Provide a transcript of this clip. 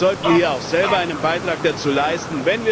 Wir sollten hier auch selber einen Beitrag dazu leisten.